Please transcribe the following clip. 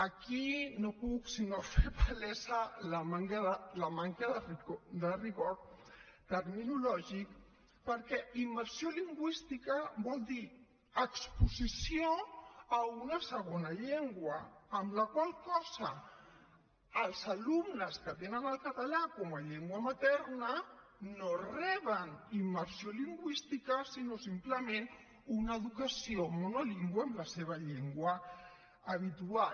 aquí no puc sinó fer palesa la manca de rigor terminològic perquè immersió lingüística vol dir exposició a una segona llengua amb la qual cosa els alumnes que tenen el català com a llengua materna no reben immersió lingüística sinó simplement una educació monolingüe en la seva llengua habitual